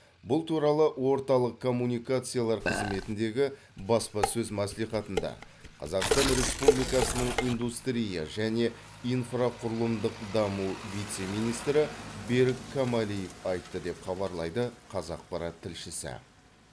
бұл туралы орталық коммуникациялар қызметіндегі баспасөз мәслихатында қазақстан республикасының индустрия және инфрақұрылымдық даму вице министрі берік камалиев айтты деп хабарлайды қазақпарат тілшісі